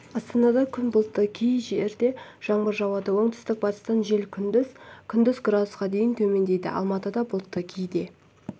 астанада күн бұлтты кейде жаңбыр жауады оңтүстік-батыстан жел күндіз күндіз градусқа дейін төмендейді алматыда бұлтты кейде